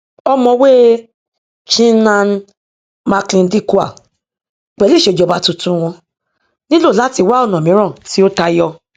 ọmọwé chinnan macleandikwal pẹlú ìṣèjọba tuntun wọn nílò láti wá ọnà míràn tí ó tayọ